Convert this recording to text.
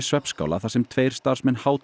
svefnskála þar sem tveir starfsmenn